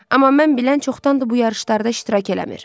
Amma mən bilən, çoxdandır bu yarışlarda iştirak eləmir.